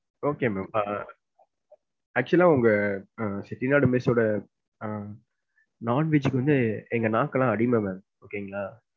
Okay ma'am ah actual ah ah உங்க Chettinad mess ஓட ah non veg கு வந்து எங்க நாக்கு எல்லாம் அடிமை ma'am okay ங்களா.